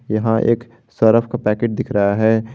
यहां एक सरफ का पैकेट दिख रहा है।